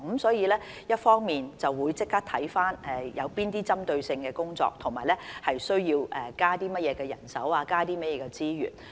所以，一方面，即時看看需進行哪些針對性工作，需要增加甚麼人手和資源。